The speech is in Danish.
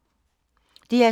DR2